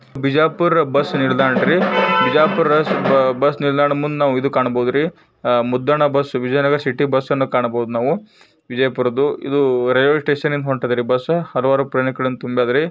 Bijapur bus ನಿಲ್ದಾಣ ರೀ bus ನಿಲ್ದಾಣ ಮುಂದೆ ಒಂದು ಬಸ್ ಕಾಣುತ್ತೀರಿ ಮುದ್ದಣ್ಣ ಬಸ್ ವಿಜಯನಗರ ಸಿಟಿ ಬಸ್ಸನ್ನು ಕಾಣಬಹುದು ನಾವು ವಿಜಯಪುರದ್ದು ಇದು ರೈಲ್ವೆ ಸ್ಟೇಷನ್ ರೈಲ್ವೆ ಸ್ಟೇಷನ್ ಕಡೆ ಹೊಡೆದರೆ ಬಸ್ಸು.